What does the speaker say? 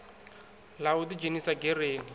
ḽa u ḓi dzhenisa gereni